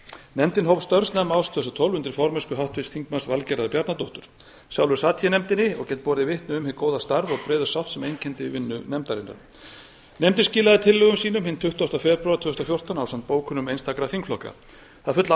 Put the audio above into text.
nefndin hóf störf árið tvö þúsund og tólf undir formennsku háttvirts þingmanns valgerðar bjarnadóttur sjálfur sat ég í nefndinni og get borið vitni um hið góða starf og breiðu sátt sem einkenndi vinnu nefndarinnar nefndin skilaði tillögum sínum hinn tuttugasta febrúar tvö þúsund og fjórtán ásamt bókunum einstakra þingflokka það er full